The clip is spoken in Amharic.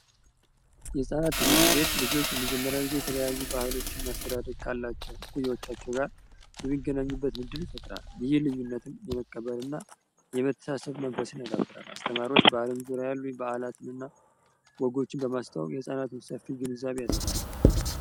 የህጻናት ትምህርት ቤት ልጆች ለመጀመሪያ ጊዜ የተለያዩ ባህሎችን ማስተዳደግ ካላቸው ኩዮዎቻቸው ጋር የሚገናኙበት ንድል ይፈጥራል። ይህ ልዩነትም የመቀበር እና የመተሳሰብ መንፈስን ያዳብራል። አስተማሪዎች በአለም ዙሪያሉ በዓላትን እና ወጎችን በማስታወ የፃናትን ሰፊ ግንዛብ ያሰፋል።